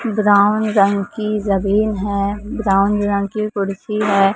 Brown रंग की जमीन है ब्राउन रंग की कुर्सी है।